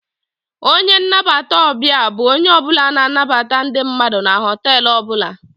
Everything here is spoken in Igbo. A receptionist is a person who welcome's people inside the hotel.